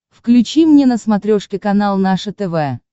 включи мне на смотрешке канал наше тв